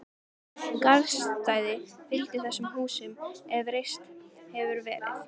Engin garðstæði fylgdu þessum húsum, ef reist hefðu verið.